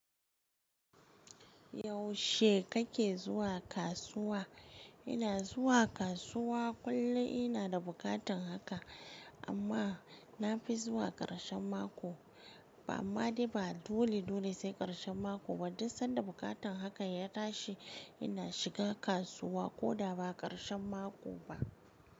Yaushe kake zuwa kasuwa? Ina zuwa kasuwa kullum ina da buƙatan haka, amma na fi zuwa ƙarshen mako, ba amma ba dole dole sai ƙarshen mako ba, duk sanda buƙatan hakan ya tashi ina shiga kasuwa ko da ba ƙarshen mako ba.